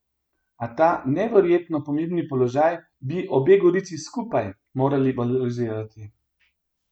A ta neverjetno pomembni položaj bi obe Gorici skupaj morali valorizirati.